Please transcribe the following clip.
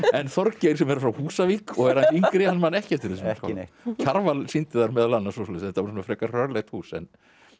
en Þorgeir sem er frá Húsavík og er yngri hann man ekki eftir þessum skála Kjarval sýndi þar meðal annars þetta var frekar hrörlegt hús en